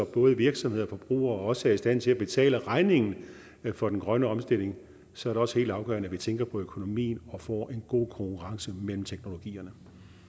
både virksomheder og forbrugere også er i stand til at betale regningen for den grønne omstilling og så er det også helt afgørende at vi tænker på økonomien og får en god konkurrence mellem teknologierne